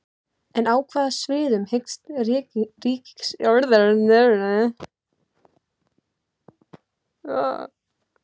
En á hvaða sviðum hyggst ríkisstjórnin leggja fram sín spil?